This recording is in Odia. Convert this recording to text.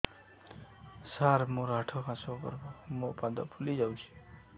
ସାର ମୋର ଆଠ ମାସ ଗର୍ଭ ମୋ ପାଦ ଫୁଲିଯାଉଛି